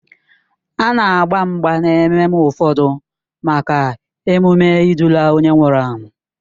A na-agba mgba n'ememme ụfọdụ maka emume ịdụla onye nwụrụ anwụ.